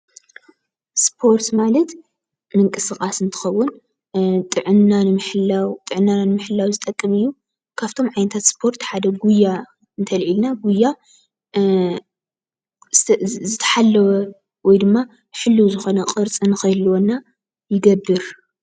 ስፖርት ማለት ምንቅስቃስ እንትከዉን ጥዕናና ንምሕላው ዝጠቅም እዩ:: ካብቶ ዓይነታት ስፖርት ሓደ ጉያ እንተልዒልና ጉያ ዝተሓለወ ወይ ድማ ሕልው ዝኮነ ቅርፂ ንክህልወና ይገብር ።